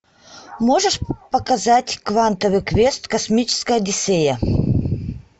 можешь показать квантовый квест космическая одиссея